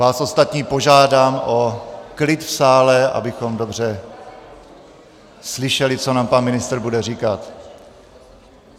Vás ostatní požádám o klid v sále, abychom dobře slyšeli, co nám pan ministr bude říkat.